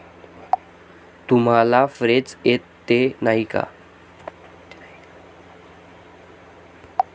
तुम्हाला फ्रेंच येते, नाही का?